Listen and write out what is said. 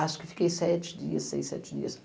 Acho que fiquei sete dias, seis, sete dias.